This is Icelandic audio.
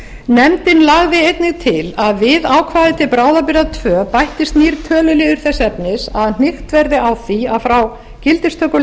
nefndin lagði einnig til að við ákvæði til bráðabirgða tvö bættist nýr töluliður þess efnis að hnykkt verði á því að frá gildistöku